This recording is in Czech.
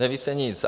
Neví se nic.